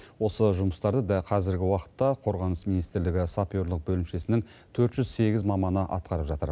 осы жұмыстарды да қазіргі уақытта қорғаныс министрлігі саперлік бөлімшесінен төрт жүз сегіз маманы атқарып жатыр